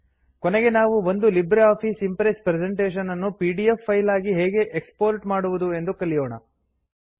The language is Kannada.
ಕೊನೆಗೆ ನಾವು ಒಂದು ಲಿಬ್ರೆ ಆಫಿಸ್ ಇಂಪ್ರೆಸ್ ಪ್ರೆಸೆಂಟೇಷನ್ ನ್ನು ಪಿಡಿಎಫ್ ಫೈಲ್ ಆಗಿ ಹೇಗೆ ಎಕ್ಸ್ ಪೋರ್ಟ್ ಮಾಡುವುದು ಎಂದು ತಿಳಿಯೋಣ